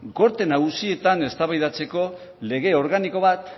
gorte nagusietan eztabaidatzeko lege organiko bat